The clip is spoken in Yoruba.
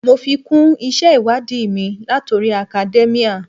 Mo fi kún isẹ ìwádìí mi latori academia.